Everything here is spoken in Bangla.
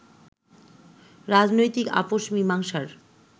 রাজনৈতিক আপোষ মীমাংসার